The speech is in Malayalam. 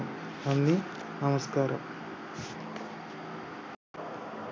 നന്ദി നമസ്‌കാരം